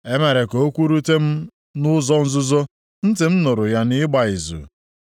“E mere ka okwu rute m nʼụzọ nzuzo, ntị m nụrụ ya nʼịgba izu.